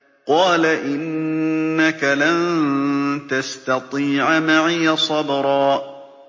قَالَ إِنَّكَ لَن تَسْتَطِيعَ مَعِيَ صَبْرًا